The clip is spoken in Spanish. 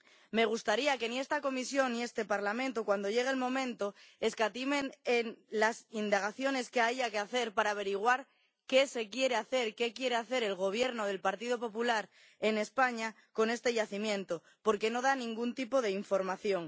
Me gustaría que ni esta Comisión ni este Parlamento, cuando llegue el momento, escatimen en las indagaciones que haya que hacer para averiguar qué se quiere hacer, qué quiere hacer el Gobierno del Partido Popular en España con este yacimiento, porque no da ningún tipo de información.